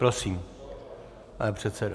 Prosím, pane předsedo.